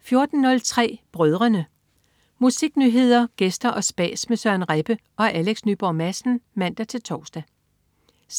14.03 Brødrene. Musiknyheder, gæster og spas med Søren Rebbe og Alex Nyborg Madsen (man-tors) 16.50